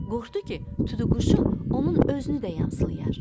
Qorxdu ki, tutuquşu onun özünü də yamsılayar.